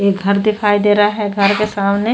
ये घर दिखाई दे रहा है घर के सामने --